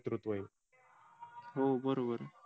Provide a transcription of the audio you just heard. हो बरोबर